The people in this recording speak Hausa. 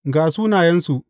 Ga sunayensu.